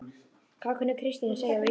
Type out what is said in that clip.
Hvað kunni Kristín að segja á íslensku?